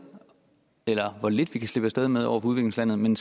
eller hvor lidt vi kan slippe af sted med over for udviklingslandene men